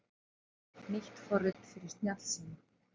Nýtt forrit fyrir snjallsíma